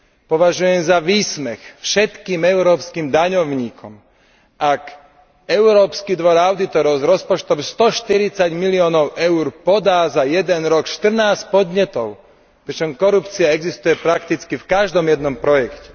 Považujem za výsmech všetkých európskych daňovníkov, ak Európsky dvor audítorov s rozpočtom 140 miliónov EUR podá za jeden rok 14 podnetov, pričom korupcia existuje prakticky v každom jednom projekte.